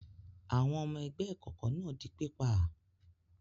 Àwọn ọmọ ẹgbẹ́ ìkọ̀kọ̀ náà di pípa?